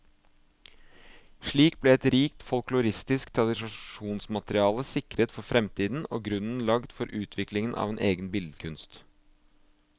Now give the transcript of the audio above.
Slik ble et rikt folkloristisk tradisjonsmateriale sikret for fremtiden, og grunnen lagt for utviklingen av en egen billedkunst.